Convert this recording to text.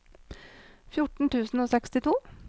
fjorten tusen og sekstito